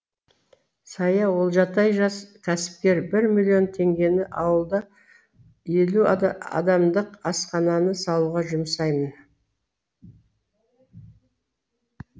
сая олжатай жас кәсіпкер бір миллион теңгені ауылда елу адамдық асхананы салуға жұмсаймын